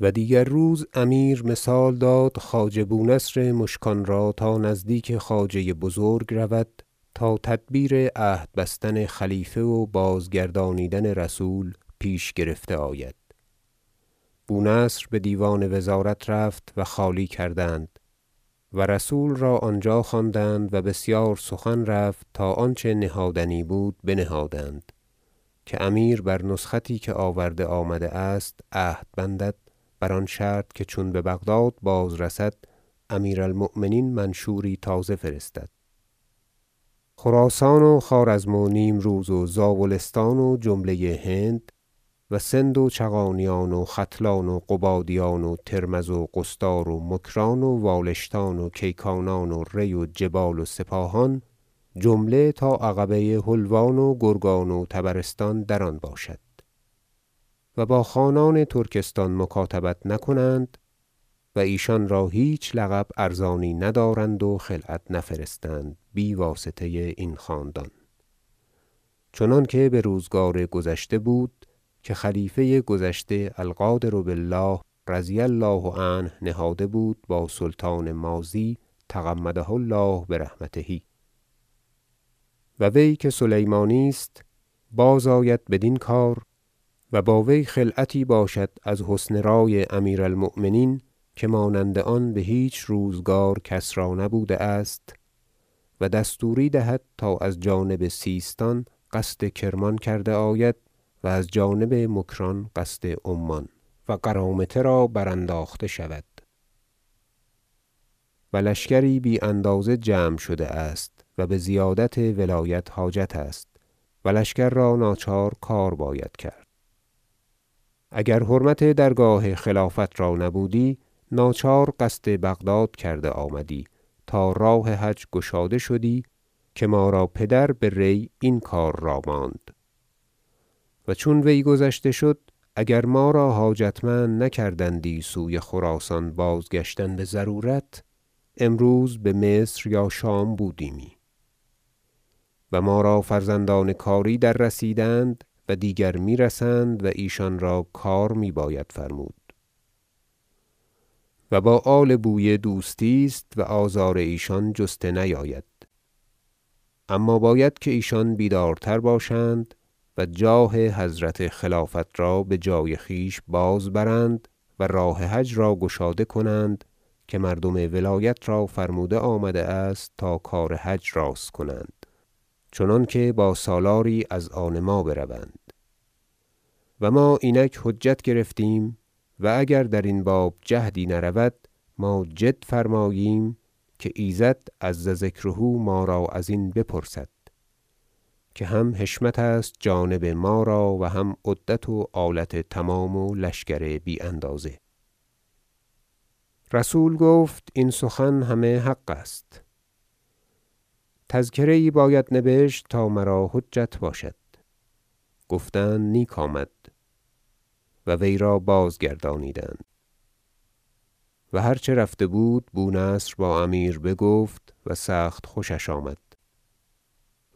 و دیگر روز امیر مثال داد خواجه بونصر مشکان را تا نزدیک خواجه بزرگ رود تا تدبیر عهد بستن خلیفه و بازگردانیدن رسول پیش گرفته آید بونصر بدیوان وزارت رفت و خالی کردند و رسول را آنجا خواندند و بسیار سخن رفت تا آنچه نهادنی بود بنهادند که امیر بر نسختی که آورده آمده است عهد بندد بر آن شرط که چون ببغداد بازرسد امیر المؤمنین منشوری تازه فرستد چنانکه خراسان و خوارزم و نیمروز و زابلستان و جمله هند و سند و چغانیان و ختلان و قبادیان و ترمذ و قصدار و مکران و والشتان و کیکانان و ری و جبال و سپاهان جمله تا عقبه حلوان و گرگان و طبرستان در آن باشد و با خانان ترکستان مکاتبت نکنند و ایشان را هیچ لقب ارزانی ندارند و خلعت نفرستند بی واسطه این خاندان چنانکه بروزگار گذشته بود که خلیفه گذشته القادر بالله رضی الله عنه نهاده بود با سلطان ماضی تغمده الله برحمته و وی که سلیمانی است بازآید بدین کار و با وی خلعتی باشد از حسن رأی امیر المؤمنین که مانند آن بهیچ روزگار کس را نبوده است و دستوری دهد تا از جانب سیستان قصد کرمان کرده آید و از جانب مکران قصد عمان و قرامطه را برانداخته شود و لشکری بی اندازه جمع شده است و بزیادت ولایت حاجت است و لشکر را ناچار کار باید کرد اگر حرمت درگاه خلافت را نبودی ناچار قصد بغداد کرده آمدی تا راه حج گشاده شدی که ما را پدر به ری این کار را ماند و چون وی گذشته شد اگر ما را حاجتمند نکردندی سوی خراسان بازگشتن بضرورت امروز بمصر یا شام بودیمی و ما را فرزندان کاری در رسیدند و دیگر میرسند و ایشان را کار می باید فرمود و با آل بویه دوستی است و آزار ایشان جسته نیاید اما باید که ایشان بیدارتر باشند و جاه حضرت خلافت را بجای خویش باز برند و راه حج را گشاده کنند که مردم ولایت را فرموده آمده است تا کار حج راست کنند چنانکه با سالاری از آن ما بروند و ما اینک حجت گرفتیم و اگر درین باب جهدی نرود ما جد فرماییم که ایزد عز ذکره ما را ازین بپرسد که هم حشمت است جانب ما را و هم عدت و آلت تمام و لشکر بی اندازه رسول گفت این سخن همه حق است تذکره یی باید نبشت تا مرا حجت باشد گفتند نیک آمد و وی را بازگردانیدند و هر چه رفته بود بونصر با امیر بگفت و سخت خوشش آمد